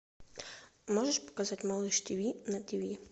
можешь показать малыш ти ви на ти ви